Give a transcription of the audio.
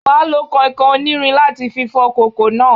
You will have to use iron sponge to wash the pot